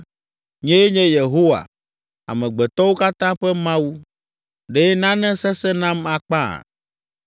“Nyee nye Yehowa, amegbetɔwo katã ƒe Mawu. Ɖe nane sesẽ nam akpa?